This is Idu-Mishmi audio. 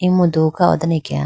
emudu kha ho done akeya.